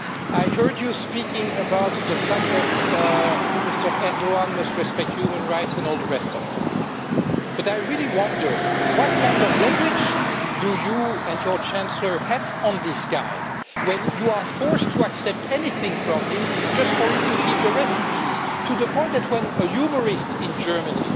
I heard you speaking about the fact that Mr Erdoğan must respect human rights and all the rest of it, but I really wonder what kind of leverage you and your Chancellor have on this guy when you are forced to accept anything from him just for him to keep the refugees, to the point that when a humourist in Germany